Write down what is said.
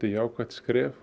jákvætt skref